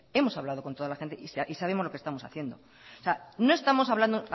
hemos hablado con toda la gente y sabemos lo que estamos haciendo o sea no estamos hablando